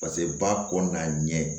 Paseke ba kɔ n'a ɲɛ